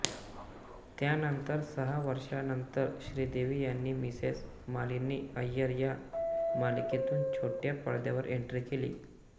त्यानंतर सहा वर्षानंतर श्रीदेवी यांनी मिसेस मालिनी अय्यर या मालिकेतून छोट्या पडद्यावर एंट्री केली